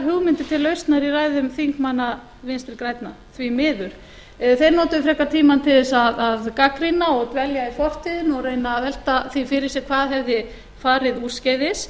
hugmyndir til lausnar í ræðum þingmanna vinstri grænna því miður þeir notuðu frekar tímann til að gagnrýna og dvelja í fortíðinni og reyna að velta því fyrir sér hvað hefði farið úrskeiðis